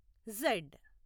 Z